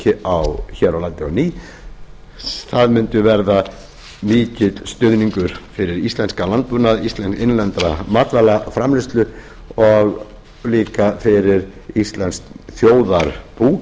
köfnunarefnisframleiðslu hér á landi á ný það mundi verða mikill stuðningur fyrir íslenskan landbúnað innlenda matvælaframleiðslu og líka fyrir íslenskt þjóðarbú